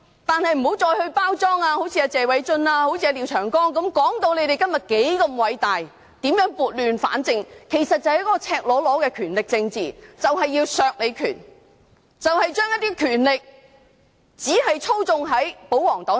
但是，請不要再好像謝偉俊議員、廖長江議員般包裝，說自己今天如何偉大、如何撥亂反正，而其實是赤裸裸的權力政治，要削弱反對派的權力，而將權力只交由保皇黨操縱。